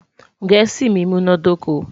gèésì mí múná dóko